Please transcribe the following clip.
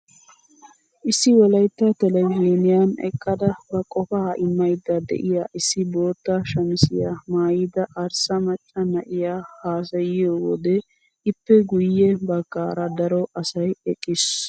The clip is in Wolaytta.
Issi wolaytta televizhiniyaan eqqada ba qofaa immayda de'iyaa issi bootta shamisiyaa maayida arssa maacca na'iyaa hasayiyoo wode ippe guye baggaara daro asay eqqiis.